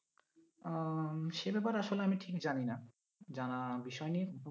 আহ সে ব্যাপার এ আসলে আমি ঠিক জানিনা জানা বিষয় নেই